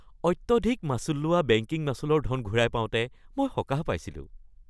অত্যধিক মাচুল লোৱা বেংকিং মাচুলৰ ধন ঘূৰাই পাওঁতে মই সকাহ পাইছিলোঁ।